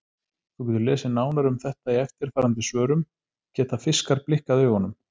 Þú getur lesið nánar um þetta í eftirfarandi svörum: Geta fiskar blikkað augunum?